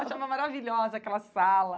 Achava maravilhosa aquela sala.